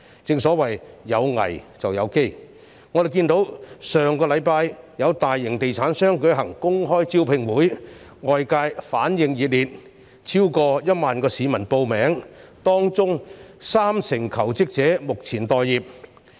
正所謂"有危便有機"，我們看到上星期有大型地產商舉行公開招聘會，外界反應熱烈，超過1萬名市民報名，當中近三成求職者目前待業。